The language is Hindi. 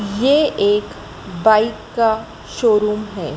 यह एक बाइक का शोरूम है।